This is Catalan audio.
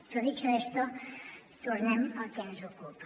però dicho esto tornem al que ens ocupa